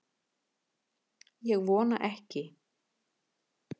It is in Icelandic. Ég vona ekki